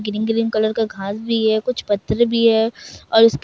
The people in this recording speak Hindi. ग्रीन ग्रीन कलर का घास भी है कुछ पत्थर भी है और उसके --